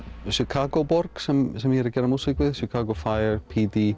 Chicago borg sem sem ég geri músík við Chicago